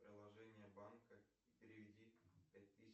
приложение банка переведи пять тысяч